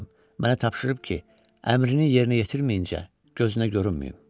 Mənə tapşırıb ki, əmrini yerinə yetirməyincə gözünə görünməyim.